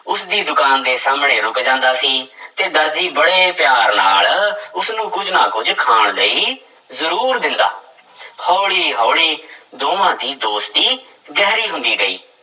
ਉਸਦੀ ਦੁਕਾਨ ਦੇ ਸਾਹਮਣੇ ਰੁੱਕ ਜਾਂਦਾ ਸੀ ਤੇ ਦਰਜੀ ਬੜੇ ਪਿਆਰ ਨਾਲ ਉਸਨੂੰ ਕੁੱਝ ਨਾ ਕੁੱਝ ਖਾਣ ਲਈ ਜ਼ਰੂਰ ਦਿੰਦਾ ਹੌਲੀ ਹੌਲੀ ਦੋਵਾਂ ਦੀ ਦੋਸਤੀ ਗਹਿਰੀ ਹੁੰਦੀ ਗਈ।